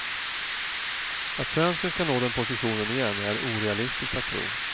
Att svensken ska nå den positionen igen är orealistiskt att tro.